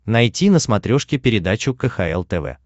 найти на смотрешке передачу кхл тв